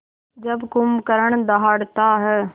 जब कुंभकर्ण दहाड़ता है